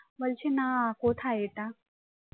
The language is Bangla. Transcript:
বলছে না কোথায় এটা